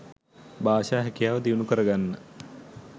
භාෂා හැකියාව දියුණු කරගන්න.